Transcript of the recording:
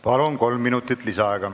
Palun, kolm minutit lisaaega!